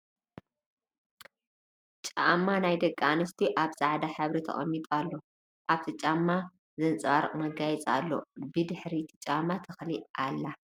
ጫማ ናይ ደቂ ኣንስትዮ ኣብ ፃዕዳ ሕብሪ ተቀሚጡ ኣሎ ። ኣብቲ ጫማ ዘንፀባሪቅ መጋየፂ ኣለዎ ። ብ ድሕሪ እቲ ጫማ ተክሊ ኣላ ።